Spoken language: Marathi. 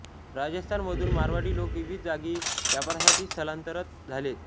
राजस्थान मधुन मारवाडी लोक विविध जागी व्यापारासाठी स्थलांतर झालेत